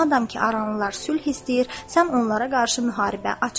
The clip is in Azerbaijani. Madam ki aranlılar sülh istəyir, sən onlara qarşı müharibə açma.